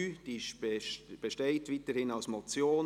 Diese besteht weiterhin als Motion.